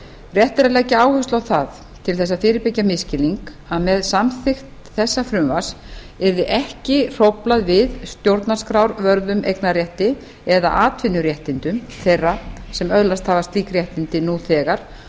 rétt er að leggja áherslu á það til þess að fyrirbyggja misskilning að með samþykkt þessa frumvarps yrði ekki hróflað við stjórnarskrárvörðum eignarrétti eða atvinnuréttindum þeirra sem öðlast hafa slík réttindi nú þegar